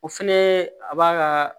O fɛnɛ a b'a ka